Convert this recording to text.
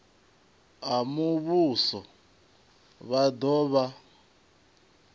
a muvhuso vha do vha